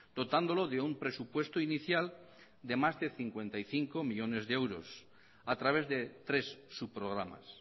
dotándolo de un presupuesto inicial de más de cincuenta y cinco millónes de euros a través de tres subprogramas